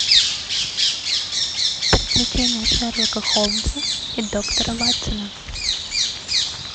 приключения шерлока холмса и доктора ватсона